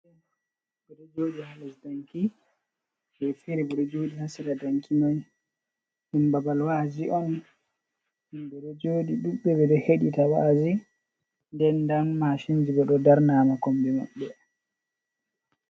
Ɓeɗojoɗi ha lesdanki ɓe fere ɓeɗo jodi ha sera danki man ɗum babal wa’azi on, himɓe ɗo joɗi ɓe ɗuɗɓe ɓeɗoo hedita wa’azi den nda mashinji bo ɗo darnama komi mabbe.